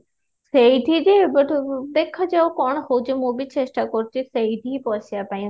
ସେଇଠି ଏବେଠୁ ଦେଖା ଯାଉ କଣ ହୋଉଛି ମୁଁ ବି ଚେଷ୍ଟା କରୁଛି ସେଇଠି ହିଁ ପଶିବା ପାଇଁ